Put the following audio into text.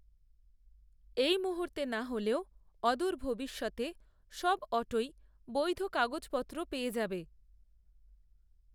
এই মুহূর্তে না হলেও অদূর ভবিষ্যতে সব অটোই বৈধ কাগজপত্র পেয়ে যাবে